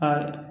A